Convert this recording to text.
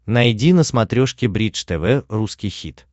найди на смотрешке бридж тв русский хит